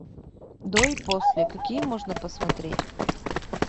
до и после какие можно посмотреть